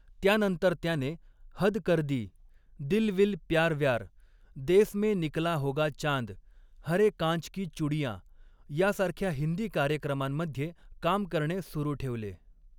त्यानंतर त्याने हद कर दी, दिल विल प्यार व्यार, देस में निकला होगा चांद, हरे कांच की चुडीयां यासारख्या हिंदी कार्यक्रमांमध्ये काम करणे सुरू ठेवले.